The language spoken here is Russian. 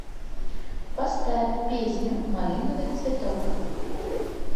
поставь песню малиновый цветок